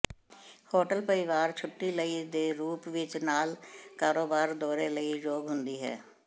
hotel ਪਰਿਵਾਰ ਛੁੱਟੀ ਲਈ ਦੇ ਰੂਪ ਵਿੱਚ ਨਾਲ ਨਾਲ ਕਾਰੋਬਾਰ ਦੌਰੇ ਲਈ ਯੋਗ ਹੁੰਦੀ ਹੈ